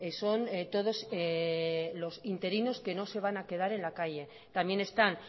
son todos los interinos que no se van a quedar en la calle también están